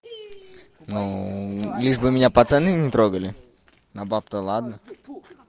ну лишь бы меня пацаны не трогали а баб-то ладно